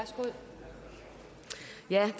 det er